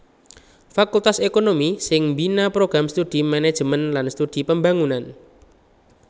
Fakultas ékonomi sing mbina Program Studi Manajemen lan Studi Pembangunan